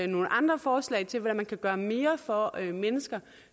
nogle andre forslag til hvordan man kan gøre mere for at mennesker